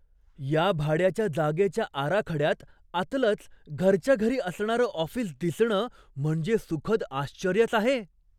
या भाड्याच्या जागेच्या आराखड्यात आतलंच घरच्या घरी असणारं ऑफिस दिसणं म्हणजे सुखद आश्चर्यच आहे.